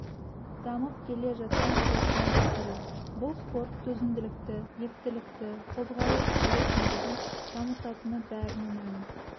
дамып келе жатқан спорттың бір түрі бұл спорт төзімділікті ептілікті қозғалыс үйлесімдігін дамытатыны бәріне мәлім